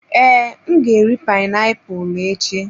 Ee, m ga-eri painiapulu echi.